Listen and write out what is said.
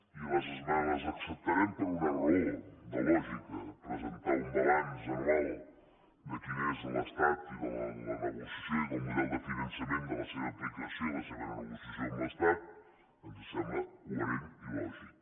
i les acceptarem per una raó de lògica presentar un balanç anual de quin és l’estat i de la negociació i del model de finançament de la seva aplicació i la seva negociació amb l’estat ens sembla coherent i lògic